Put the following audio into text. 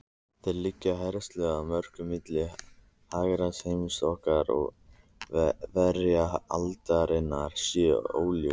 Þeir leggja áherslu á að mörk milli hugarheims okkar og veraldarinnar séu óljós.